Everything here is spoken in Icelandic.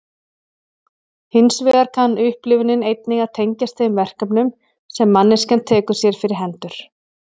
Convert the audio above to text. Hins vegar kann upplifunin einnig að tengjast þeim verkefnum sem manneskjan tekur sér fyrir hendur.